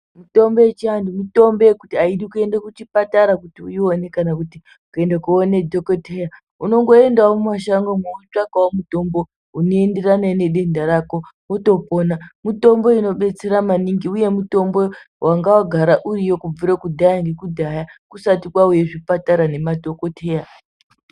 Mitombo yechi anthu, mitombo yekuti aidi kuenda kuchibhedhlera kuti uione kana kuenda koona dhokodheya. Unongoendawo mushangomwo wotsvakawo mutombo unoenderana nedenda rako wotopona. Mitombo inodetsera maningi uye mutombo wanga wagara uriyo kubvire kudhaya nekudhaya kusati kwauya zvibhedhlera nema dhokodheya.